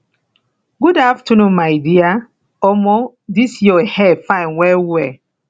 good afternoon my dear omo dis your hair fine wellwell